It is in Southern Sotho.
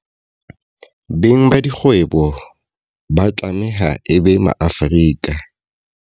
Beng ba dikgwebo ba tlameha e be Maafrika.